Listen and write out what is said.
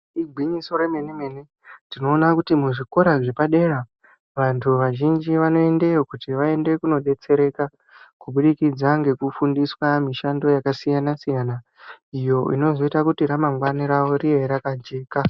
Igwinyiso remene mene tinoona kuti muzvikora zvepadera tinoona kuti vantu vazhinji vanoendayo kuti vaone kudetsereka kubudikidza ngekufundiswa mishando yakasiyana siyana iyo inozoita kuti ramangwani ravo riye rakajeka.